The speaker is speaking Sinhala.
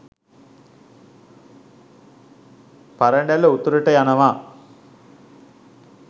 පරඬැල උතුරට යනවා.